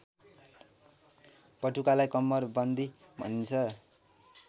पटुकालाई कम्मरबन्दी भनिन्छ